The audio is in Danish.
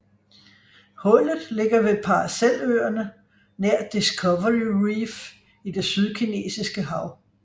Hullet ligger ved Paraceløerne nær Discovery Reef i Det Sydkinesiske hav